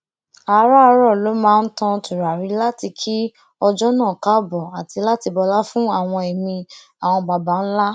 àràárọ ló máa ń tan tùràrí láti kí ọjó náà káàbò àti láti bọlá fún àwọn èmí àwọn baba ńlá